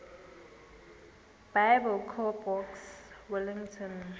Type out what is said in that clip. biblecor box wellington